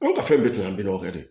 Anw ka fɛn bɛɛ tun ye bi kɛ de